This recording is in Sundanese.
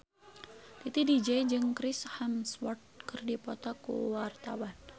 Titi DJ jeung Chris Hemsworth keur dipoto ku wartawan